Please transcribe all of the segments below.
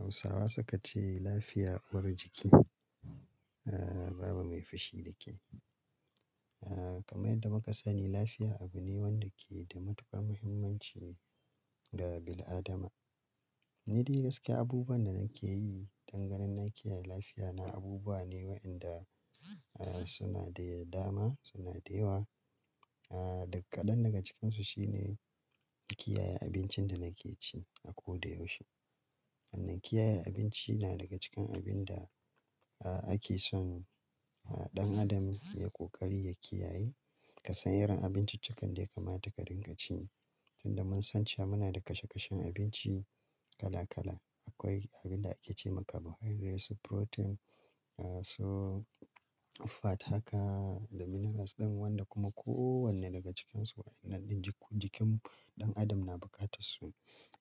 Hausawa su ka ce lafiya uwar jiki, ah baba mai fushi da ke. Ah kamar yadda muka sani lafiya abu ne wanda ke da matuƙar muhimmanci ga bil'adama. Ni dai gaske abubuwan da nake yi dangane da kiyaye lafiya na abubuwa ne waɗanda suna da dama, suna da yawa. Ah, daƙaɗan daga cikinsu shine kiyaye abincin da nake ci a ko da yaushe. Hannun kiyaye abinci na daga cikin abin da ake son ɗan adam ya ƙoƙari ya kiyaye. Ka san irin abinci cikan da ya kamata ka dinga ci. Tun da mun san cewa muna da kashe kashen abinci kala kala. Akwai abin da ake ce ma carbohydrates, protein, so-- fat haka da minerals ɗan wanda kuma kowanne daga cikinsu waɗannan jikin ɗan adam na buƙatar su.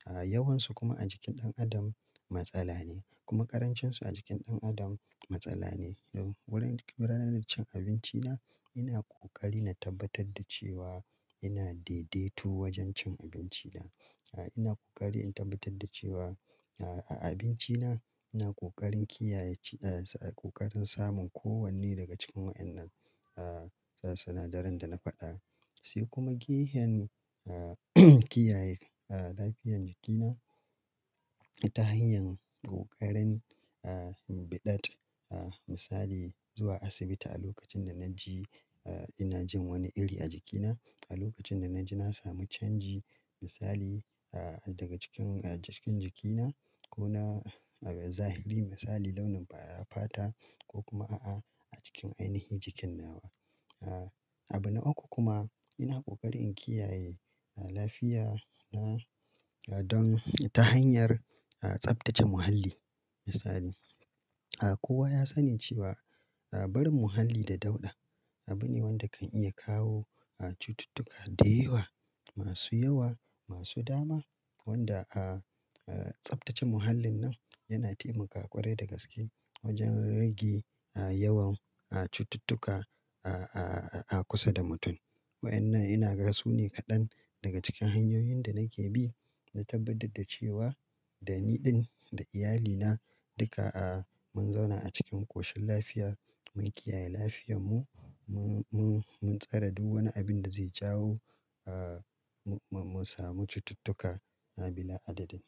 Yawansu kuma a jikin ɗan adam matsala ne kuma ƙarancensu a jikin ɗan adam matsala ne. Wurin-- ranar cin abinci na ina ƙoƙari na tabbatar da cewa ina daidaito wajen cin abinci na. Ina ƙoƙari in tabbatar da cewa a abinci na ina ƙoƙarin kiyaye ci-- ƙoƙarin samun kowanne daga cikin waɗannan sinadaran da na faɗa. Sai kuma gehen a kiyaye lafiyar jikina ta hanyar ƙoƙarin biɗat. Misali zuwa asibiti a lokacin da na ji ina jin wani iri a jikina. A lokacin da na ji na samu canji misali daga cikin jikin jikina ko na zahiri misali launin fata ko kuma a a a cikin ainihi jikin na wa. Abu na uku kuma ina ƙoƙarin kiyaye lafiya na don ta hanyar tsaftace muhalli misali. Kowa ya sani cewa barin muhalli da dauɗa abu ne wanda kan iya kawo cututtuka da yawa masu yawa, masu dama wanda tsaftace muhallin nan yana taimaka ƙwarai da gaske wajen rage yawan cututtuka a kusa da mutum. Wa'annan ina gan su ne kaɗan daga cikin hanyoyin da nake bi na tabbatar da cewa da ni ɗin da iyalina duka mun zauna a cikin ƙoshin lafiya, mun kiyaye lafiyamun, mun, mun, mun tsare duk wani abin da zai jawo mu samu cututtuka a bila adadin.